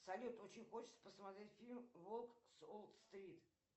салют очень хочется посмотреть фильм волк с уол стрит